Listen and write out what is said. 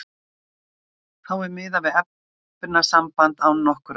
Þá er miðað við efnasamband án nokkurra aukaefna.